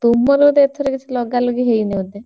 ତୁମର ବୋଧେ ଏଇଥର କିଛି ଲଗାଲଗି ହେଇନି ବୋଧେ?